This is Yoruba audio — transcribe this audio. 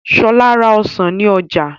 Ṣọ́la ra Ọsàn ní Oja